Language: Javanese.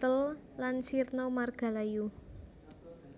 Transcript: thel lan sirna margalayu